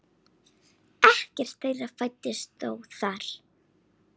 Ekkert þeirra fæddist þó þar.